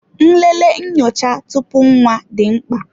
Nlele nyocha tupu nwa dị mkpa.